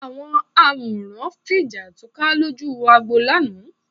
Àwọn òǹwòran fi jà túká lójú agbo lánàá